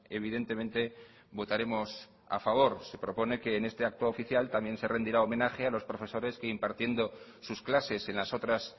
evidentemente votaremos a favor que propone que en ese acto oficial también se rendirá homenaje a los profesores que impartiendo sus clases en las otras